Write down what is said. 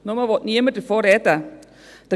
Es will bloss niemand darüber sprechen.